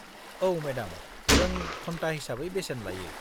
औ मेडाम, जों घन्टा हिसाबै बेसेन लायो।